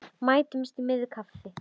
Mætumst í miðju kafi.